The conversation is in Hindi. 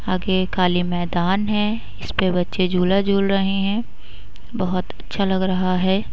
आगे काले मैदान है। इस पे बच्चे झुला झूल रहे है। बहोत अच्छा लग रहा है।